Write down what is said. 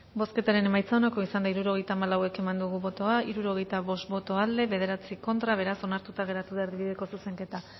bozketaren emaitza onako izan da hirurogeita hamalau eman dugu bozka hirurogeita bost boto aldekoa nueve contra beraz onartuta geratu da erdibideko zuzenketa